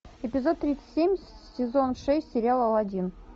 эпизод тридцать семь сезон шесть сериал алладин